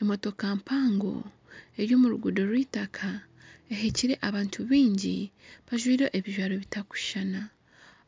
Emootoka mpango eri omu ruguudo rw'itaaka eheekire abantu bingi bajwaire ebijwaro bitakushuushana